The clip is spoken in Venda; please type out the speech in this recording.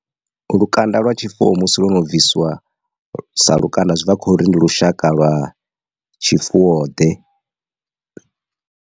Lukanda lwa tshifuwo musi lo no bvisiwa sa lukanda zwi bva khori ndi lushaka lwa tshifuwo ḓe.